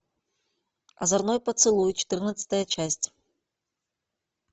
озорной поцелуй четырнадцатая часть